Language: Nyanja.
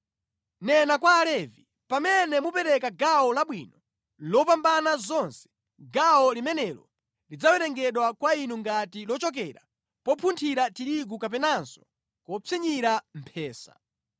“Nena kwa Alevi: ‘Pamene mupereka gawo labwino lopambana zonse, gawo limenelo lidzawerengedwa kwa inu ngati lochokera popunthira tirigu kapenanso kopsinyira mphesa.